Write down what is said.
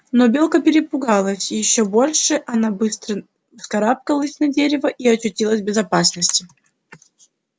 но белка перепугалась ещё больше она быстро вскарабкалась на дерево и очутившись в безопасности